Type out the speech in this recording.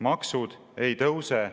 Maksud ei tõuse.